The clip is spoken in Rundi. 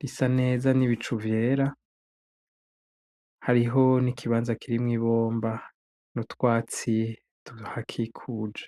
risa neza n'ibicu vyera, hariho n'ikibanza kirimwo ibomba n'utwatsi tuhakikuje.